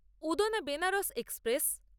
Udhna Banaras express